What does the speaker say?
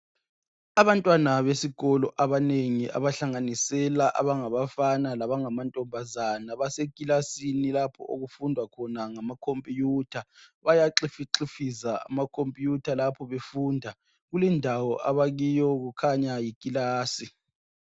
Abantwana besikolo abanengi abahlanganisela abangabafana laba ngamanyombazana ekilasini lapho okufundwa khona ngama computer. Bayaxifixifiza amacomputer lapho befunda . Kulendawo abakiyo kukhanya yikilasi